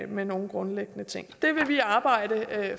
med nogen grundlæggende ting det vil vi arbejde